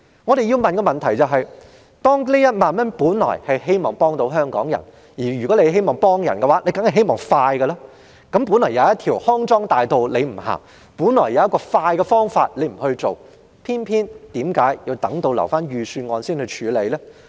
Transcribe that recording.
我們要問的是：這1萬元本來是希望幫助香港人，而想幫助人當然是希望盡快幫到，為何原本有一條康莊大道他不走；原本有一種快捷方法他不用，卻偏要等到提交預算案時才處理？